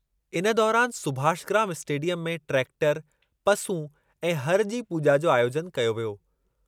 इन दौरानि सुभाषग्राम स्टेडियमु में ट्रैक्टरु, पसूं ऐं हरु जी पूॼा जो आयोजनु कयो वियो।